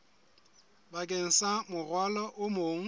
bakeng sa morwalo o mong